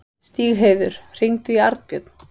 Stígheiður, hringdu í Arnbjörn.